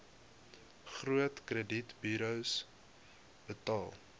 groot kredietburos betaal